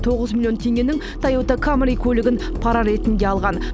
тоғыз миллион теңгенің тойота камри көлігін пара ретінде алған